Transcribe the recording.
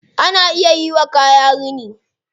Ana iya yiwa kaya rini.